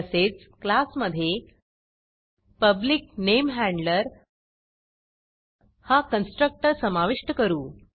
तसेच क्लासमधे पब्लिक NameHandlerपब्लिक नेम हॅंड्लर हा कन्स्ट्रक्टर समाविष्ट करू